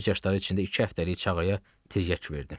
Göz yaşları içində iki həftəlik çağıya tirgəç verdi.